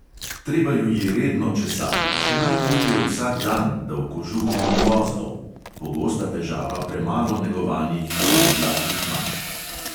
Treba ju je redno česati, še najbolje vsak dan, da v kožuhu ni vozlov (pogosta težava premalo negovanih dolgodlakih mačk).